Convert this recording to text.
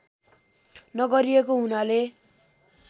नगरिएको हुनाले